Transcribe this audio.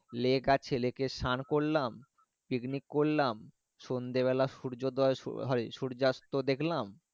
lake আছে lake এ সান করলাম picnic করলাম সন্ধে বেলাই সূর্যা দই শুরু হয় সূর্যাস্ত দেখলাম।